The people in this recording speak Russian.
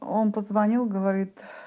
он позвонил говорит